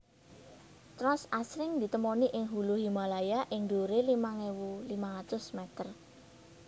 Trans asring ditemoni ing hulu Himalaya ing dhuwure limang ewu limang atus meter